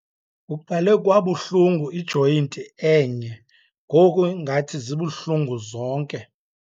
Kuqale kwabuhlungu ijoyinti enye ngoku ngathi zibuhlungu zonke.